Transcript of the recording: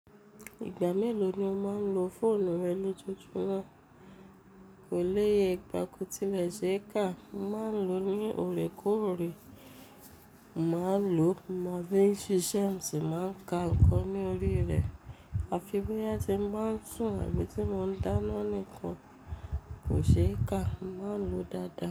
Ìgbà mélòó ni o máa ń lo fóònù rẹ lójoojúmọ́? Kò léye ìgbà kò tilẹ̀ ṣe é kà. Mo máa ń lo ní òrékórè. Mo máa ń lo má bí ń ṣe ṣẹ́ ẹ ti máa ń ka nǹkan ní orí rẹ̀. Àfi bóyá tí mo máa ń sùn àbí tí mo ń dáná nìkan, kò ṣe é kà. Mo máa ń lo dáadáa.